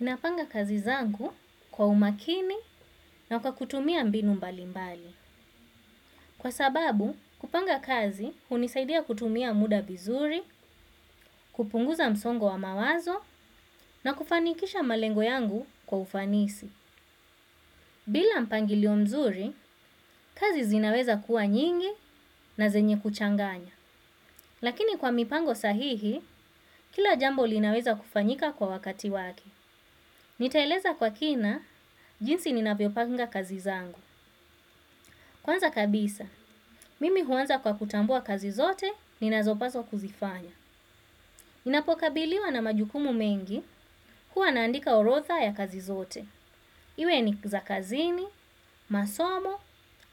Napanga kazi zangu kwa umakini na kwa kutumia mbinu mbalimbali. Kwa sababu kupanga kazi hunisaidia kutumia muda vizuri kupunguza msongo wa mawazo na kufanikisha malengo yangu kwa ufanisi. Bila mpangilio nzuri, kazi zinaweza kuwa nyingi na zenye kuchanganya. Lakini kwa mipango sahihi, kila jambo linaweza kufanyika kwa wakati wake. Nitaeleza kwa kina, jinsi ninavyopanga kazi zangu. Kwanza kabisa, mimi huanza kwa kutambua kazi zote ninazopawa kuzifanya. Ninapokabiliwa na majukumu mengi kuwa naandika orodha ya kazi zote. Iwe ni za kazini, masomo,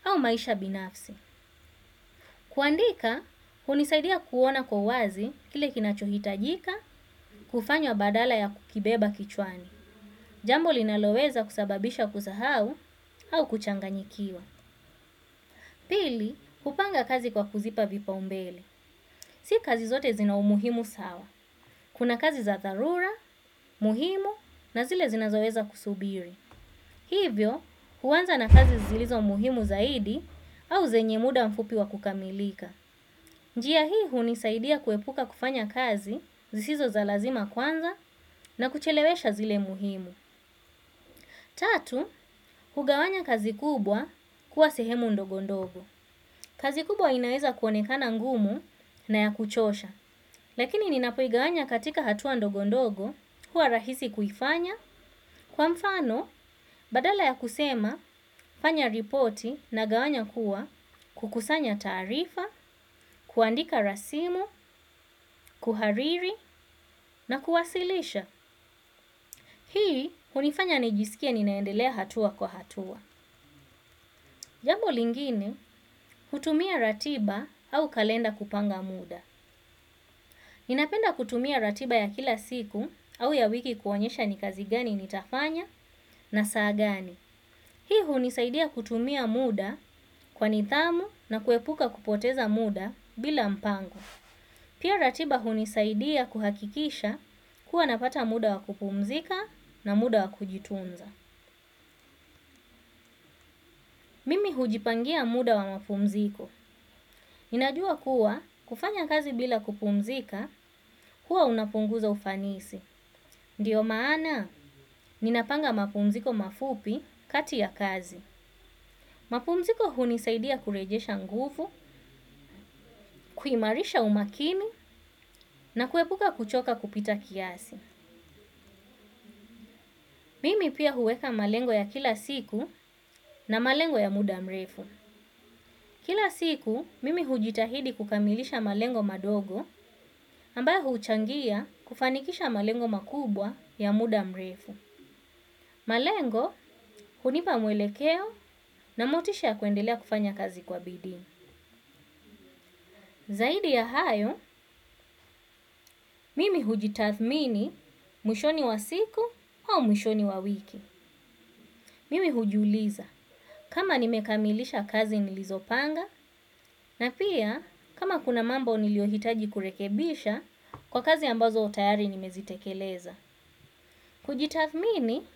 au maisha binafsi. Kuandika, hunisaidia kuona kwa uwazi kile kinachohitajika kufanywa badala ya kukibeba kichwani. Jambo linaloweza kusababisha kusahau au kuchanganyikiwa. Pili, kupanga kazi kwa kuzipa vipaumbele. Si kazi zote zina umuhimu sawa. Kuna kazi za dharura, muhimu na zile zinazoweza kusubiri. Hivyo, huanza na kazi zilizo muhimu zaidi au zenye muda mfupi wa kukamilika. Njia hii hunisaidia kuepuka kufanya kazi zisizo za lazima kwanza na kuchelewesha zile muhimu. Tatu, hugawanya kazi kubwa kuwa sehemu ndogo ndogo. Kazi kubwa inaeza kuonekana ngumu na ya kuchosha, lakini ninapoigawanya katika hatua ndogo ndogo, huwa rahisi kuifanya, kwa mfano, badala ya kusema, fanya ripoti nagawanya kuwa, kukusanya taarifa, kuandika rasimu, kuhariri, na kuwasilisha. Hii hunifanya nijisikie ninaenda hatua kwa hatua. Jambo lingine, hutumia ratiba au kalenda kupanga muda. Ninapenda kutumia ratiba ya kila siku au ya wiki kuonyesha ni kazi gani nitafanya na saa gani. Hii hunisaidia kutumia muda kwa nidhamu na kuepuka kupoteza muda bila mpango. Pia ratiba hunisaidia kuhakikisha kuwa napata muda wa kupumzika na muda wa kujitunza. Mimi hujipangia muda wa mapumziko. Ninajua kuwa kufanya kazi bila kupumzika huwa unapunguza ufanisi. Ndio maana ninapanga mapumziko mafupi kati ya kazi. Mapumziko hunisaidia kurejesha nguvu kuimarisha umakini na kuepuka kuchoka kupita kiasi. Mimi pia huweka malengo ya kila siku na malengo ya muda mrefu. Kila siku, mimi hujitahidi kukamilisha malengo madogo ambayo huuchangia kufanikisha malengo makubwa ya muda mrefu. Malengo, hunipa mwelekeo na motisha ya kuendelea kufanya kazi kwa bidii. Zaidi ya hayo, mimi hujitathmini mwishoni wa siku au mwishoni wa wiki. Mimi hujuliza. Kama nimekamilisha kazi nilizopanga na pia kama kuna mambo niliyohitaji kurekebisha kwa kazi ambazo tayari nimezitekeleza. Kujitathmini,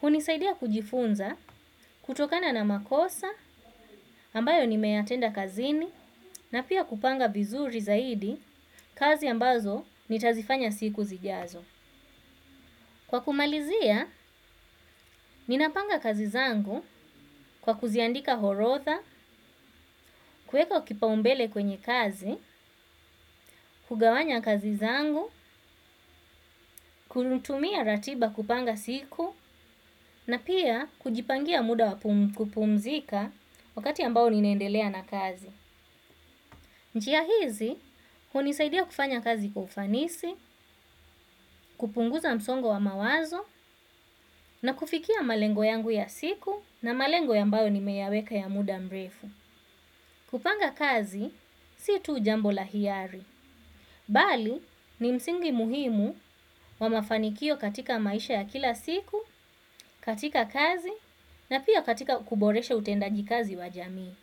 hunisaidia kujifunza kutokana na makosa ambayo nimeyatenda kazini na pia kupanga vizuri zaidi kazi ambazo nitazifanya siku zijazo. Kwa kumalizia ninapanga kazi zangu kwa kuziandika orodha kuweka kipaumbele kwenye kazi kugawanya kazi zangu kutumia ratiba kupanga siku, na pia kujipangia muda wa kupumzika wakati ambao ninaendelea na kazi. Njia hizi, hunisaidia kufanya kazi kwa ufanisi, kupunguza msongo wa mawazo, na kufikia malengo yangu ya siku na malengo ambayo nimeyaweka ya muda mrefu. Kupanga kazi, si tu jambo la hiari. Bali, ni msingi muhimu wa mafanikio katika maisha ya kila siku, katika kazi, na pia katika kuboresha utendaji kazi wa jamii.